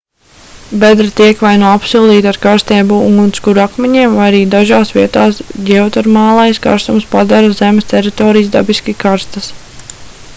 bedre tiek vai nu apsildīta ar karstiem ugunskura akmeņiem vai arī dažās vietās ģeotermālais karstums padara zemes teritorijas dabiski karstas